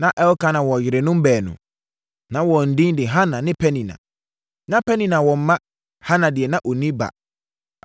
Na Elkana wɔ yerenom baanu. Na wɔn din de Hana ne Penina. Na Penina wɔ mma. Hana deɛ, na ɔnni ba.